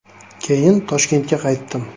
Keyin Toshkentga qaytdim.